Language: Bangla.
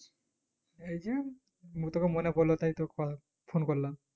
এই যে মুতোকে মনে পড়লো তাই তোকথা phone করলাম